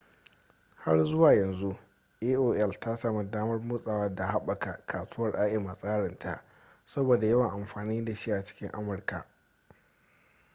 har zuwa yanzu aol ta sami damar motsawa da haɓaka kasuwar im a tsarin ta saboda yawan amfani da shi a cikin amurka